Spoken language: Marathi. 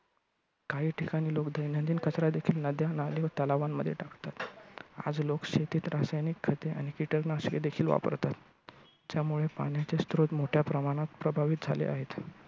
काही ठिकाणी लोक दैनंदिन कचरा देखील नद्या, नाले व तलावांमध्ये टाकतात. आज लोक शेतीत रासायनिक खते आणि किटकनाशके देखिल वापरतात. त्यामुळे पाण्याचे स्रोत मोठ्या प्रमाणात प्रभावित झाले आहेत.